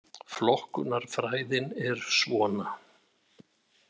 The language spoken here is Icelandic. Flokkunarfræðin er svona: